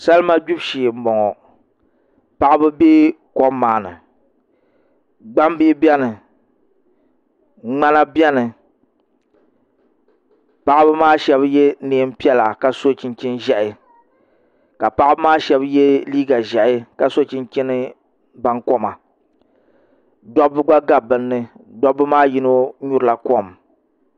Salima gbibu shee n boŋo paɣaba bɛ kom maa ni gbambihi biɛni ŋmana biɛni paɣaba maa shab yɛ neen piɛla ka so chinchin ʒiɛhi ka paɣaba maa shab yɛ liiga ʒiɛhi ka so chinchin bankoma dabba gba gabi bi ni dabba maa yino nyurila kom